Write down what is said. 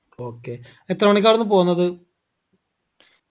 okay എത്ര മണിക്കാ ആട്ന്ന് പോന്നത്